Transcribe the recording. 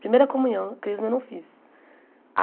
Primeira comunhão, crisma eu não fiz.